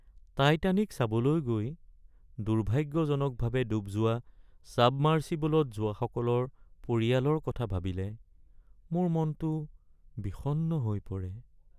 Titanic চাবলৈ গৈ দুৰ্ভাগ্যজনকভাৱে ডুব যোৱা ছাবমাৰ্চিবলত যোৱাসকলৰ পৰিয়ালৰ কথা ভাবিলে মোৰ মনটো বিষণ্ণ হৈ পৰে। (ব্যক্তি ১)